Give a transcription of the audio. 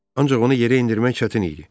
Ancaq onu yerə endirmək çətin idi.